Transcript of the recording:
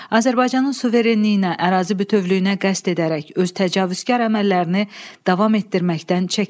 Azərbaycanın suverenliyinə, ərazi bütövlüyünə qəsd edərək öz təcavüzkar əməllərini davam etdirməkdən çəkinmədi.